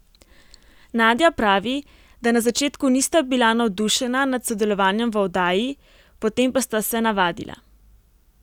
Nadja pravi, da na začetku nista bila navdušena nad sodelovanjem v oddaji, potem pa sta se navadila.